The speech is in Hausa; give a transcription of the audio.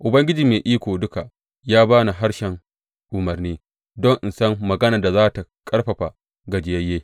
Ubangiji Mai Iko Duka ya ba ni harshen umarni, don in san maganar da za tă ƙarfafa gajiyayye.